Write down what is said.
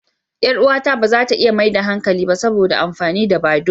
Yar uwata ba za ta iya maida hankali ba saboda amfani da badoo.